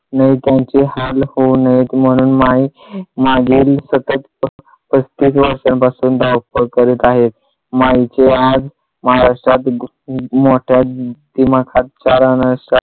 नाही त्यांचे हाल होऊ नयेत म्हणून माई मागील सतत पस्तीस वर्षांपासून धावपळ करीत आहेत. माईचे आज महाराष्ट्रात मोठ्या दिमाखात